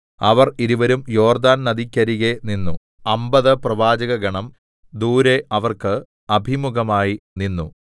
അവർ ഇരുവരും യോർദ്ദാൻ നദിക്കരികെ നിന്നു അമ്പത് പ്രവാചകഗണം ദൂരെ അവർക്ക് അഭിമുഖമായി നിന്നു